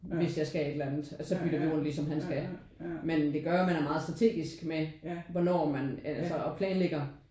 Hvis jeg skal et eller andet at så bytter vi rundt ligesom hvis han skal men det gør jo at man er meget strategisk med hvornår man altså og planlægger